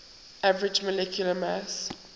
average molecular mass